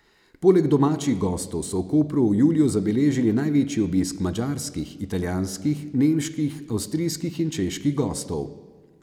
Poleg domačih gostov so v Kopru v juliju zabeležili največji obisk madžarskih, italijanskih, nemških, avstrijskih in čeških gostov.